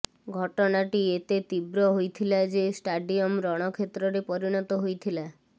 ଘଟଣାଟି ଏତେ ତୀବ୍ର ହୋଇଥିଲା ଯେ ଷ୍ଟାଡିୟମ ରଣକ୍ଷେତ୍ରରେ ପରିଣତ ହୋଇଥିଲା